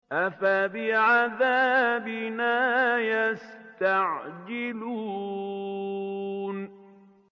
أَفَبِعَذَابِنَا يَسْتَعْجِلُونَ